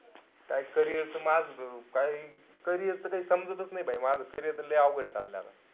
काई carrier च माझं त काई carrier च काई समजतच नाई carrier माझं carrier त लई अवघड चाललंय आपलं.